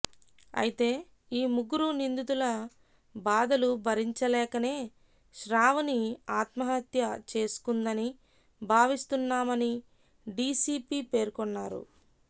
అయితే ఈ ముగ్గురు నిందితుల బాధలు భరించలేకనే శ్రావణి ఆత్మహత్య చేసుకుందని భావిస్తున్నామని డీసీపీ పేర్కొన్నారు